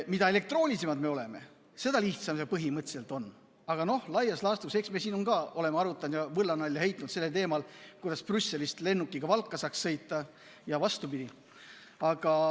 Mida elektroonilisemalt me töötame, seda lihtsam see põhimõtteliselt on, aga laias laastus – eks me siin oleme arutanud ja võllanalja teinud teemal, kuidas Brüsselist lennukiga Valka saaks sõita ja vastupidi.